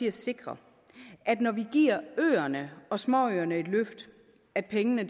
at sikre når vi giver øerne og småøerne et løft at pengene